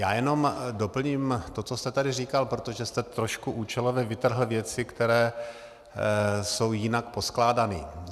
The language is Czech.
Já jenom doplním to, co jste tady říkal, protože jste trošku účelově vytrhl věci, které jsou jinak poskládané.